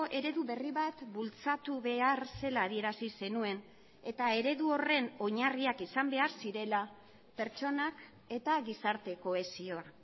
eredu berri bat bultzatu behar zela adierazi zenuen eta eredu horren oinarriak izan behar zirela pertsonak eta gizarte kohesioa